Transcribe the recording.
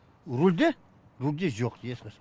рульде рульде жоқ ешқашан